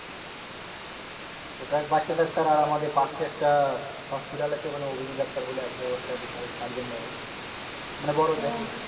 ওটা বাচ্চাদের ছাড়া আর আমাদের পাশে একটা hospital আছে ওখানে অভিজিৎ ডাক্তার বলে আছে ও একটা বিশাল surgeon ধরো মানে বড় যে